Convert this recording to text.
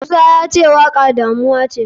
Musa yace waka damuwace.